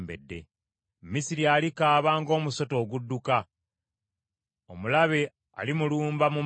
Misiri alikaaba ng’omusota ogudduka, omulabe alimulumba mu maanyi, amujjire n’embazzi, ng’abatemi b’emiti.